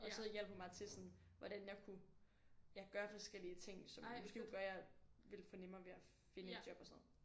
Og så hjalp hun mig til sådan hvordan jeg kunne ja gøre forskellige ting som måske kunne gøre jeg ville få nemmere ved at finde et job og sådan noget